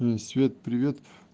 свет привет